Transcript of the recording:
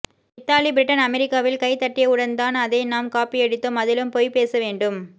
Italy Britain அமெரிக்காவில் கை தட்டியவுடன் தான் அதை நாம் காப்பியடித்தோம் அதிலும் பொய் பேசவேண்டும்